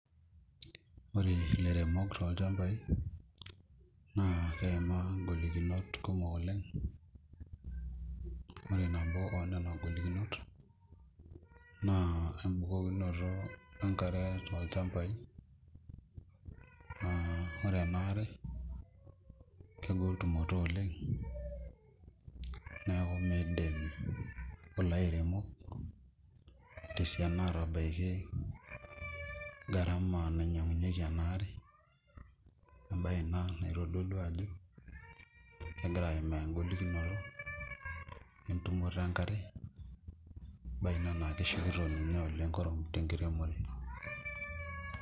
Ore ilairemok tolchambai naa keeimaa ingolikinot kumok oleng' ore nabo onena golikinot naa embukokinonto enkare tolchambai naa ore ena are kegol tumoto oleng' neeku miidim kulo airemok tesiana aatabaiki garama nainyiang'unyieki ena are embaye ina naitodolu ajo kegira aimaa engolikinoto entumoto enkare embaye ina naa keshukito ninye kurum tenkiremore.